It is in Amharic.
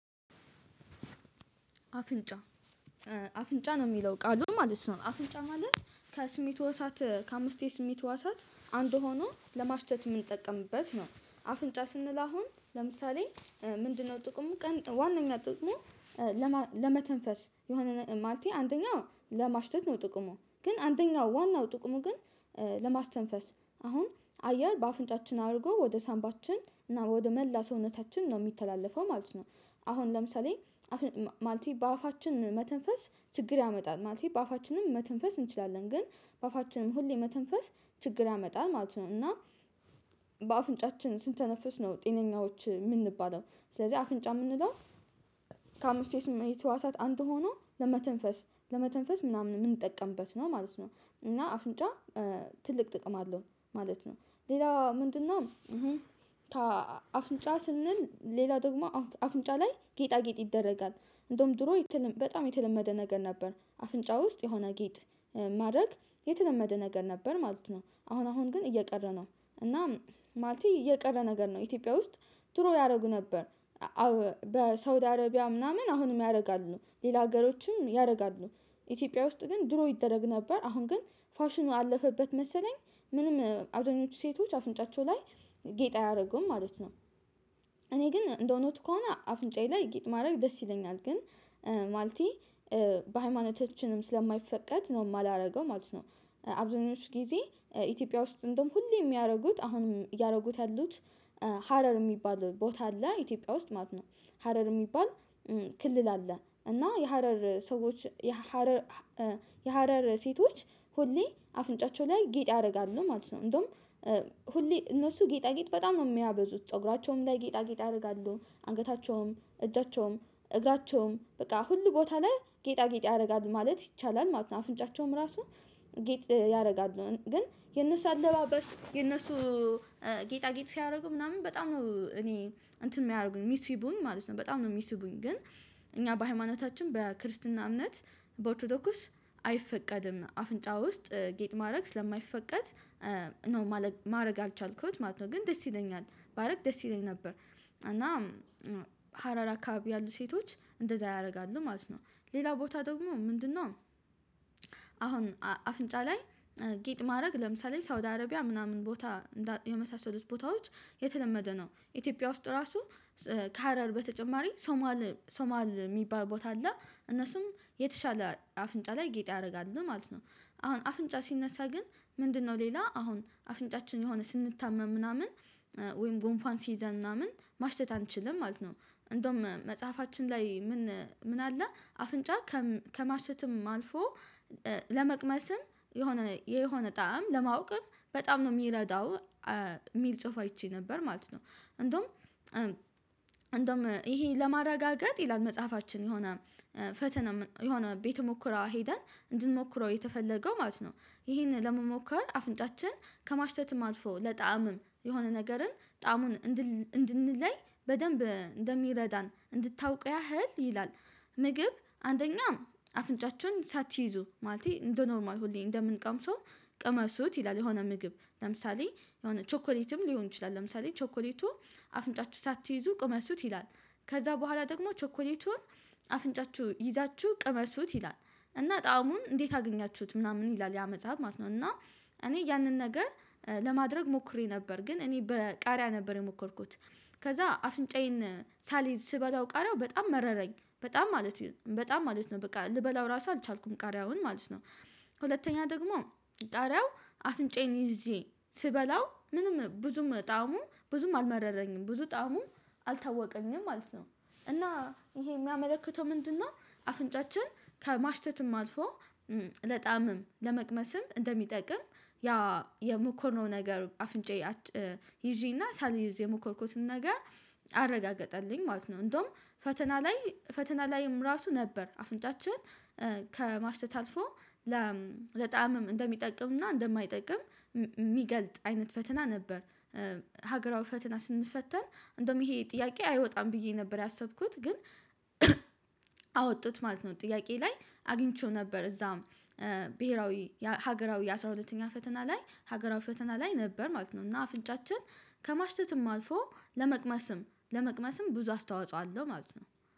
አፍንጫ አፍንጫ ነው ሚለው ቃሉ ማለት ነው አፍንጫ ማለት ከስሜቱ ህዋሳት ከአምስት ስሜት ህዋሳት አንዱ ሆኖ ለማሽተት ምንጠቀምበት ነው። አፍንጫ ስንል አሁን ለምሳሌ ምንድን ነው ጥቅሙ ቀን ዋናኛ ጥቁሙ? ለመተንፈስ የሆነ ማለቴ አንደኛ ለማሽተት ነው ጥቅሙ ግን አንደኛው ዋናው ጥቅሙ ግን ለማስተንፈስ አሁን አየር በአፍንጫችን አርጎ ወደ ሳንባችን እና ወደ መላ ሰውነታችን ነው ሚተላለፈው ማለት ነው። አሁን ለምሳሌ ማለቴ በአፋችን መተንፈስ ችግር ያመጣል ማለት ነው። በአፋችንም መተንፈስ እንችላለን ግን በአፋችንም ሁሌ መተንፈስ ችግር ያመጣል ማለት ነው። እና በአፍንጫችን ስንተነፍስ ነው ጤነኛዎች ምንባለው። ስለዚህ አፍንጫ የምንለው ከአምስቱ የስሜት ህዋሳት አንዱ ሆኖ ለመተንፈስ ለመተንፈስ ምናምን ምንጠቀምበት ነው ማለት ነው። እና አፍንጫ ትልቅ ጥቅም አለው ማለት ነው። ሌላው ምንድን ነው? አፍንጫ ስንል ሌላ ደግሞ አፍንጫ ላይ ጌጣጌጥ ይደረጋል እንደውም ድሮ በጣም የተለመደ ነገር ነበር። አፍንጫ ውስጥ የሆነ ጌጥ ማድረግ የተለመደ ነገር ነበር ማለት ነው አሁን አሁን ግን እየቀረ ነው። እናም ማለቴ እየቀረ ነገር ነው ኢትዮጵያ ውስጥ ድሮ ያረጉ ነበር። በሳውዲ አረቢያ ምናምን አሁንም ያርጋሉ ሌላ ሀገሮችም ያርጋሉ። ኢትዮጵያ ውስጥ ግን ድሮ ይደረግ ነበር አሁን ግን ፋሽኑ አለፈበት መሰለኝ። ምንም አብዛኞቹ ሴቶች አፍንጫቸው ላይ ጌጥ አያረጉም ማለት ነው። እኔ ግን እንደ እውነቱ ከሆነ አፍንጫዬ ላይ ጌጥ ማድረግ ደስ ይለኛል ግን። ማለቴ በሃይማኖቻችንም ስለማይፈቀድ ነው ማላረገው ማለት ነው። አብዛኞቹ ጊዜ ኢትዮጵያ ውስጥ እንደውም ሁሌም የሚያደርጉት አሁንም እያረጉት ያሉት። ሀረር ሚባል ቦታ አለ ኢትዮጵያ ውስጥ ማለት ነው። ሀረር የሚባል ክልል አለ እና የሀረር ሰዎች። የሀረር የሀረር ሴቶች ሁሌ አፍንጫቸው ላይ ጌጥ ያረጋሉ ማለት ነው። እንደውም ሁሌ እነሱ ጌጣጌጥ በጣም ነው የሚያበዙት ፀጉራቸውም ላይ ጌጣጌጥ ያረጋሉ አንገታቸውም እጃቸውም እግራቸውም በቃ ሁሉ ቦታ ላይ ጌጣጌጥ ያረጋሉ ማለት ይቻላል ማለት ነው። አፍንጫቸውም ራሱ ጌጥ ያረጋሉ ግን የነሱ አለባበስ የነሱ ጌጣጌጥ ሲያረጉ ምናምን በጣም ነው እኔ እንትን የሚያደርጉኝ ሚስቡኝ ማለት ነው በጣም ነው ሚስቡኝ ግን። እኛ በሃይማኖታችን በክርስትና እምነት በኦርቶዶክስ አይፈቀድም አፍንጫ ውስጥ ጌጥ ማረግ ስለማይፈቀድ ነው ማረግ ያልቻልኩውት ማለት ነው። ግን ደስ ይለኛል ባረግ ደስ ይለኝ ነበር። እና ሀረር አካባቢ ያሉ ሴቶች እንደዛ ያረጋሉ ማለት ነው። ሌላ ቦታ ደግሞ ምንድን ነው? አሁን አፍንጫ ላይ ጌጥ ማረግ ለምሳሌ ሳውዲ አረቢያ ምናምን ቦታ የመሳሰሉት ቦታዎች የተለመደ ነው። ኢትዮጵያ ውስጥ ራሱ ከሀረር በተጨማሪ ሶማል ሶማል ሚባል ቦታ አለ። እነሱም የተሻለ አፍንጫ ላይ ጌጥ ያረጋሉ ማለት ነው። አሁን አፍንጫ ሲነሳ ግን ምንድን ነው ሌላ አሁን አፍንጫችን የሆነ ስንታመም ምናምን ወይም ጉንፋን ሲይዘን ምናምን ማሽተት አንችልም ማለት ነው። እንደውም መጽሐፋችን ላይ ምን አለ አፍንጫ ከማሸተትም አልፎ ለመቅመስም የሆነ የሆነ ጣዕም ለማወቅም በጣም ነው ሚረዳው። ሚል ጽሁፍ አይቼ ነበር ማለት ነው። እንደውም እንደውም ይሄ ለማረጋገጥ ይላል መጽሐፋችን የሆነ ፈተና የሆነ ቤተ ሙከራ ሄደን እንድንሞክረው የተፈለገው ማለት ነው። ይሄንን ለመሞከር አፍንጫችን ከማሽተት ማጥፎ ለጣዕምም የሆነ ነገርን ጣዕሙን እንድንለይ በደንብ እንደሚረዳን እንድታውቅ ያህል ይላል። ምግብ አንደኛ አፍንጫችን ሳትይዙ ማለት እንደ ኖርማል ሁሌ እንደምንቀምሰው ቅመሱት ይላል የሆነ ምግብ ለምሳሌ የሆነ ቾኮሌትም ሊሆን ይችላል ለምሳሌ ቾኮሌቱ አፍንጫችሁ ሳትይዙ ቅመስሱት ይላል። ከዛ በኋላ ደግሞ ቸኮሌቱን አፍንጫችሁ ይዛችሁ ቅመሱት ይላል። እና ጣዕሙን እንዴት አገኛችሁት ምናምን ይላል ያ መጽሐፍ ማለት ነው። እና እኔ ያንን ነገር ለማድረግ ሞክሬ ነበር ግን እኔ በቃሪያ ነበር የሞከርኩት። ከዛ አፍንጫዬን ሳልይዝ ስበላው ቃሪያው በጣም መረረኝ በጣም ማለት በጣም ማለት ነው በቃ ልበላው ራሱ አልቻልኩም ቃሪያውን ማለት ነው። ሁለተኛ ደግሞ ቃሪያው አፍንጫዬን ይዤ ስበላው ምንም ብዙም ጣሙ ብዙም አልመረረኝም ብዙ ጣሙ አልታወቀኝም ማለት ነው። እና ይሄ የሚያመለክተው ምንድን ነው? አፍንጫችን ከማሽተትም አልፎ ለጣምም ለመቅመስም እንደሚጠቅም ያ የሞከርነው ነገር አፍንጫዬ ይዤና ሳልይዝ የሞከርኩትን ነገር አረጋገጠልኝ ማለት ነው። እንደውም ፈተና ላይም ራሱ ነበር አፍንጫችን ከማሽተት አልፎ ለጣዕምም እንደሚጠቅምና እንደማይጠቅም የሚገልጥ አይነት ፈተና ነበር። ሀገራዊ ፈተና ስንፈተን እንደውም ይሄ ጥያቄ አይወጣም ብዬ ነበር ያሰብኩት ግን አወጡት ማለት ነው። ጥያቄ ላይ አግኝቼው ነበር እዛም ብሄራዊ ሀገራዊ አስራ ሁለተኛ ፈተና ላይ ሀገራዊ ፈተና ላይ ነበር ማለት ነው። እና አፍንጫችን ከማሽተትም አልፎ ለመቅመስም ለመቅመስም ብዙ አስተዋጽኦ አለው ማለት ነው።